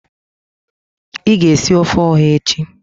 I ga esi ofe oha echi.